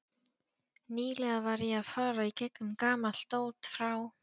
Nýlega var ég að fara í gegnum gamalt dót frá